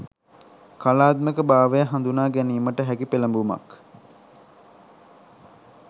කලාත්මක භාවය හඳුනාගැනීමට හැකි පෙළඹුමක්